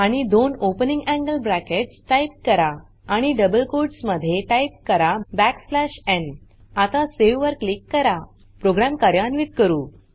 आणि दोन opening angle brackets type करा आणि डबल कोट्स मध्ये टाइप करा n आता सावे वर क्लिक करा प्रोग्राम कार्यान्वित करू